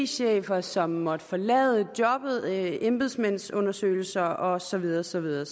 chefer som måtte forlade jobbet embedsmandsundersøgelser og så videre og så videre